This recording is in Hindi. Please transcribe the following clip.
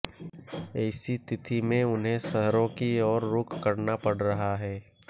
ऐसी स्थिति में उन्हें शहरों की ओर रुख करना पड़ रहा है